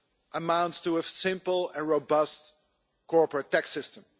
amounts to a simple and robust corporate tax system.